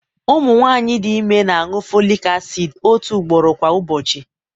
ụmụ nwanyị dị ime na-aṅụ folic acid otu ugboro kwa ụbọchị